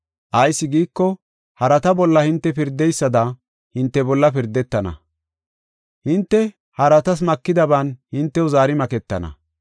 Ayis giiko, harata bolla hinte pirdeysada hinte bolla pirdetana; hinte haratas makidaban hintew zaari maketana.